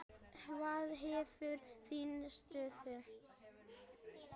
Hvað með þína stöðu?